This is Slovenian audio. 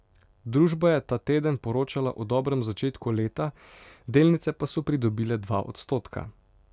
Družba je ta teden poročala o dobrem začetku leta, delnice pa so pridobile dva odstotka.